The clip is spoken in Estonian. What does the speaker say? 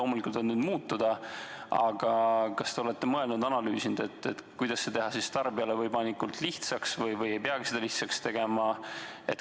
Nad võivad loomulikult muutuda, aga kas te olete mõelnud-analüüsinud, kuidas teha see tarbijale võimalikult lihtsaks, või ei peagi seda lihtsaks tegema?